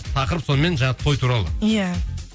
тақырып сонымен жаңа той туралы иә